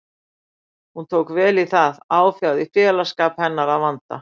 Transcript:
Hún tók vel í það, áfjáð í félagsskap hennar að vanda.